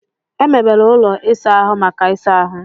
E mebere ụlọ ịsa ahụ maka ịsa ahụ.